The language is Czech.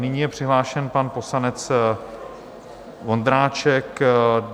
Nyní je přihlášen pan poslanec Vondráček.